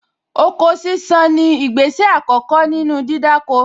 Oko sísán ni ìgbésẹ̀ àkọ́kọ́ nínú dídáko